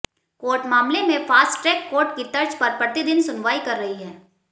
court मामले में fast track court की तर्ज पर प्रतिदिन सुनवाई कर रही है